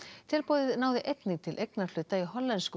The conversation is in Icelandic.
tilboðið náði einnig til eignarhluta í hollensku